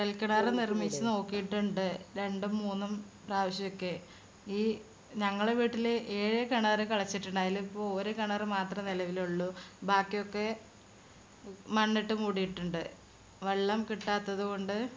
കൊഴല്കിണര് നിർമിച്ചു നോക്കിയിട്ടിണ്ട്. രണ്ടും മൂന്നും പ്രാവശ്യൊക്കെ. ഈ ഞങ്ങളെ വീട്ടില് ഏഴ് കിണർ കിളച്ചിട്ടുണ്ട്. അയില് ഇപ്പോ ഒരു കിണർ മാത്രേ നിലവിലുള്ളു. ബാക്കി ഒക്കെ മണ്ണിട്ട് മൂടിയിട്ടിണ്ട്. വെള്ളം കിട്ടാത്തത് കൊണ്ട്.